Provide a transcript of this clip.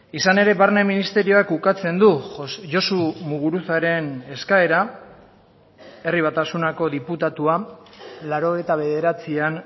izan ere barne ministerioak ukatzen du josu muguruzaren eskaera herri batasunako diputatua laurogeita bederatzian